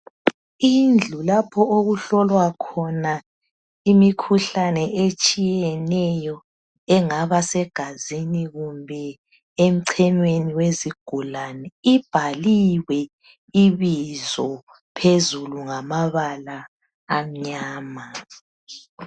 Indlu lapho okuhlolwa khona imikhuhlane etshiyeneyo engaba segazini kumbe emchenyweni wezigulane ibhaliwe ibizo phezulu ngamabala amnyama